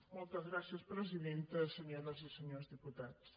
moltes gràcies presidenta senyores i senyors diputats